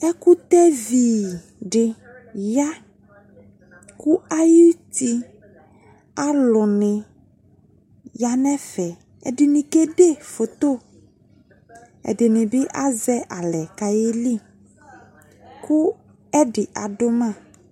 ɛkutɛvi de ya ko ayuti alune ya nefɛƐdene kede photoƐdene be azɛ alɛ kayeli ko ɛde ado ma